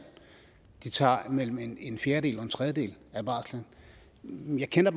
de tager mellem en en fjerdedel og en tredjedel af barslen men jeg kender